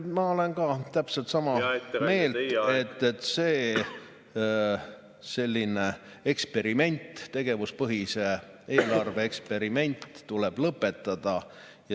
Ma olen täpselt sama meelt, et selline eksperiment, tegevuspõhise eelarve eksperiment, tuleb lõpetada.